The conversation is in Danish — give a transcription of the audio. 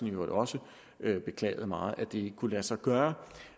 i øvrigt også beklaget meget at det ikke kunne lade sig gøre